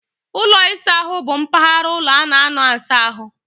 Ụlọ ịsa ahụ bụ mpaghara ụlọ a na-anọ asa ahụ.